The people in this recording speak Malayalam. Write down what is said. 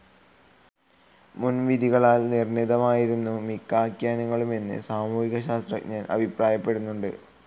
മുൻവിധികളാൽ നിർണിതമായിരുന്നു മിക്ക ആഖ്യാനങ്ങളുമെന്ന് സാമൂഹിക ശാസ്ത്രജ്ഞർ അഭിപ്രായപ്പെടുന്നുണ്ട്.